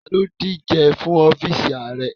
Tani o dije fun ọfiisi aarẹ?